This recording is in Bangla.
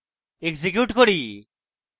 execute করি